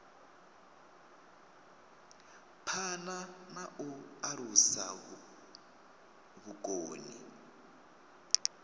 phana na u alusa vhukoni